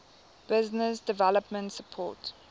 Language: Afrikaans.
business development support